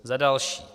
Za další.